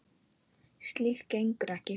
Slíkt gengur ekki.